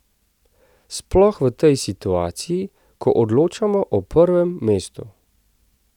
Sploh v tej situaciji, ko odločamo o prvem mestu.